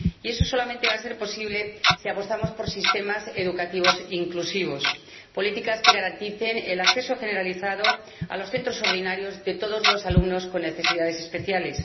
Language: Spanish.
Y eso solamente va a ser posible si apostamos por sistemas educativos inclusivos, por políticas que garanticen el acceso generalizado a los centros ordinarios de todos los alumnos con necesidades especiales